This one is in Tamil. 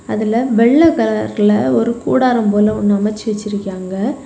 அதுல வெள்ளை கலர்ல ஒரு கூடாரம் போல ஒன்னு அமச்சி வச்சிருக்காங்க.